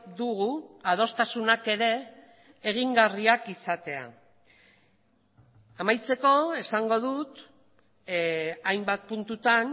dugu adostasunak ere egingarriak izatea amaitzeko esango dut hainbat puntutan